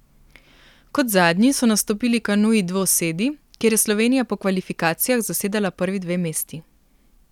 Kot zadnji so nastopili kanuji dvosedi, kjer je Slovenija po kvalifikacijah zasedala prvi dve mesti.